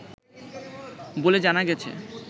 বলে জানা গেছে